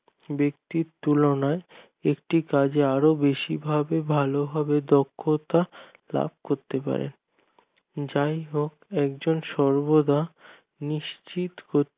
ব্যাক্তির তুলনায় একটি কাজে আরো বেশি ভাবে ভালো ভাবে দক্ষতা লাভ করতে পারে যাই হোক একজন সর্বদা নিশ্চিত করতে